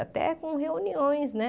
Até com reuniões, né?